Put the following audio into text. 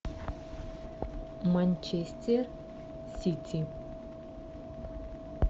манчестер сити